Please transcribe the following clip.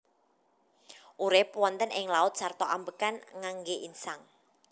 Urip wonten ing laut sarta ambekan ngangge insang